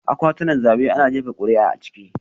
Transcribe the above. Akwatunan zabe ana jefa kuri'a a ciki